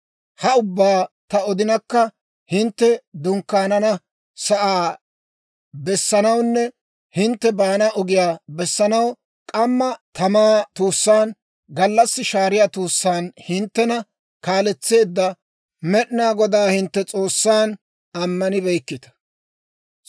«Ha ubbaa ta odinkka, hintte dunkkaanana sa'aa bessanawunne hintte baana ogiyaa bessanaw k'amma tamaa tuussaan, gallassi shaariyaa tuussaan hinttena kaaletseedda Med'inaa Godaa, hintte S'oossan, ammanibeykkita.